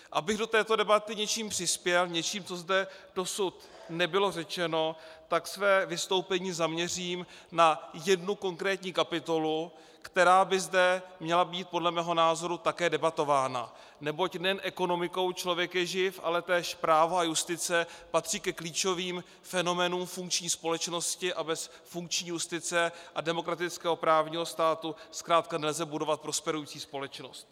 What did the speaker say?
Abych do této debaty něčím přispěl, něčím, co zde dosud nebylo řečeno, tak své vystoupení zaměřím na jednu konkrétní kapitolu, která by zde měla být podle mého názoru také debatována, neboť nejen ekonomikou člověk je živ, ale též právo a justice patří ke klíčovým fenoménům funkční společnosti a bez funkční justice a demokratického právního státu zkrátka nelze budovat prosperující společnost.